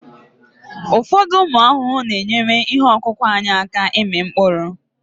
ụfọdụ ụmụ ahụhụ na-enyere ihe ọkụkụ anyị aka ịmị mkpụrụ